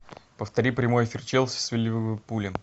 повтори прямой эфир челси с ливерпулем